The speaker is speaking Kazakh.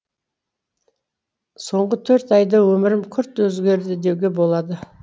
соңғы төрт айда өмірім күрт өзгерді деуге болады